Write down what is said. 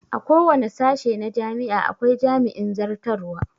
A kowane sashe na jami'a akwai jami'in zartarwa